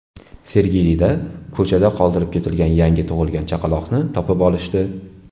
Sergelida ko‘chada qoldirib ketilgan yangi tug‘ilgan chaqaloqni topib olishdi.